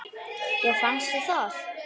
Já fannst þér það?